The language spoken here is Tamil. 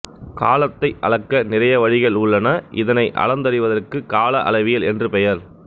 காலத்தை அளக்க நிறைய வழிகள் உள்ளன இதனை அளந்தறிவதற்கு கால அளவியல் என்று பெயர்